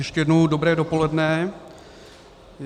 Ještě jednou dobré dopoledne.